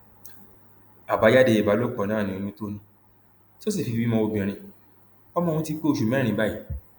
àbájáde ìbálòpọ náà ni oyún tó ní tó sì fi bímọ obìnrin ọmọ ọhún ti pé oṣù mẹrin báyìí